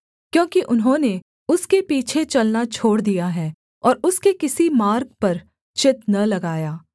क्योंकि उन्होंने उसके पीछे चलना छोड़ दिया है और उसके किसी मार्ग पर चित्त न लगाया